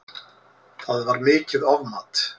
Það var mikið ofmat